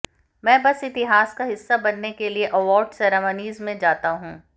मैं बस इतिहास का हिस्सा बनने के लिए अवॉर्ड सेरेमनीज़ में जाता हूं